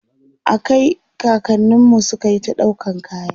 a Kai kakanninmu sukayi ta ɗaukan kaya